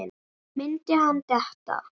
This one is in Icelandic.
Myndi hann detta?